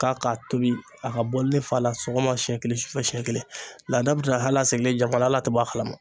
K'a k'a tobi a ka bɔli fa la sɔgɔma siɲɛ kelen siɲɛ siɲɛ kelen laada bɛ na halisalen jamana tɛ bɔ a kalama.